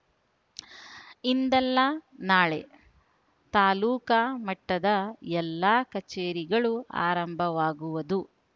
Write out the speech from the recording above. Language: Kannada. ಇಂದಲ್ಲಾ ನಾಳೆ ತಾಲೂಕಾ ಮಟ್ಟದ ಎಲ್ಲಾ ಕಚೇರಿಗಳು ಆರಂಭವಾಗುವದು